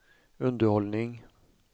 underhållning